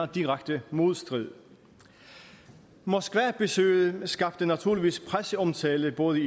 direkte modstrid moskvabesøget skabte naturligvis presseomtale i både